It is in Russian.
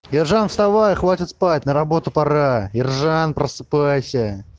ержан вставай хватит спать на работу пора ержан просыпайся